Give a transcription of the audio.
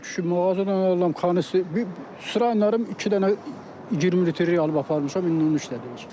Ay kişi mağazadan alıram, bir sıram iki dənə 20 litrlik alıb aparmışam, indi onu işlədirəm iş.